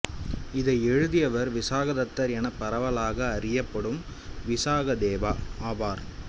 இதை எழுதியவர் விசாகதத்தர் என பரவலாக அறியப்படும் விசாகதேவா ஆவார்